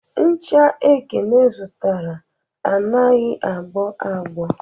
Ncha Ekene zụtara anaghị a gbọ agbọ